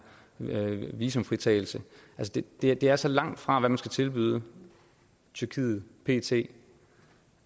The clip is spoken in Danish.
visumfritagelse det er så langt fra hvad man skal tilbyde tyrkiet pt